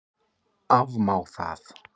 Afmá það?